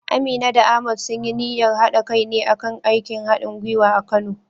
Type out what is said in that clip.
Amina da Ahmad sun yi niyyar haɗa kai ne a kan aikin hadin gwiwa a Kano.